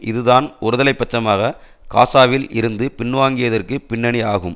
இதுதான் ஒருதலை பட்சமாக காசாவில் இருந்து பின்வாங்கியதற்கு பின்னணி ஆகும்